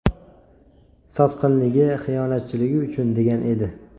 Sotqinligi, xiyonatchiligi uchun”, degan edi.